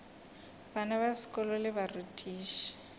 bana ba sekolo le barutiši